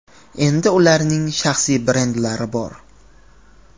Endi ularning shaxsiy brendlari bor.